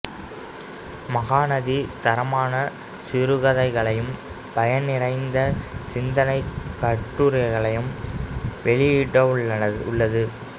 மகாநதி தரமான சிறுகதைகளையும் பயன் நிறைந்த சிந்தனைக் கட்டுரைகளையும் வெளியிட்டுள்ளது